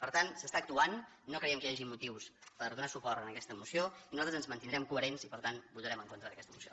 per tant s’està actuant no creiem que hi hagi motius per donar suport a aquesta moció i nosaltres ens mantindrem coherents i per tant votarem en contra d’aquesta moció